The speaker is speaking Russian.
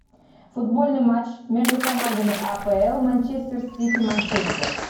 футбольный матч между командами апл манчестер сити манчестер